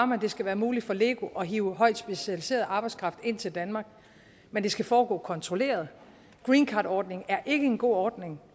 det skal være muligt for lego at hive højt specialiseret arbejdskraft ind til danmark men det skal foregå kontrolleret greencardordningen er ikke en god ordning